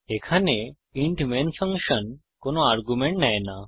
এখানে int main function কোনো argument নেয় না